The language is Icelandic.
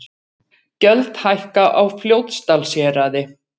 Gjöld hækka á Fljótsdalshéraði